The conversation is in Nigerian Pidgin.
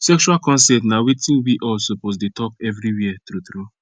sexual consent na watin we all suppose dey talk everywhere true true